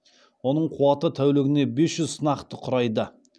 оның қуаты тәулігіне бес жүз сынақты құрайды